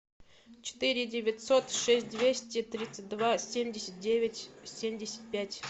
четыре девятьсот шесть двести тридцать два семьдесят девять семьдесят пять